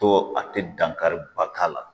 To a tɛ dankari ba la